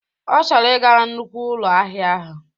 Ọ chọrọ ị ga na nnukwu ụlọ ahịa ahụ.